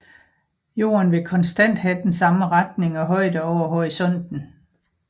Jorden vil konstant have den samme retning og højde over horisonten